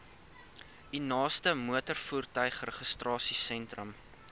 u naaste motorvoertuigregistrasiesentrum